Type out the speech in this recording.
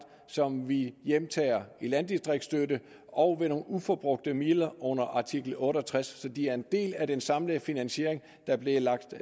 som vi hjemtager i landdistriktsstøtte og ved nogle uforbrugte midler under artikel otte og tres så de er en del af den samlede finansiering der blev lagt